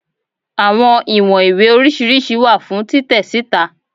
Awọn iwọn iwe oriṣiriṣi wa fun titẹ sita